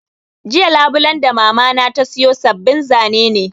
Jiya Labulen da Mamana ta sayo sabbin zane ne